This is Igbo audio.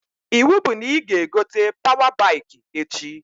Iwu bụ na ị ga-egote pawa baikị echi!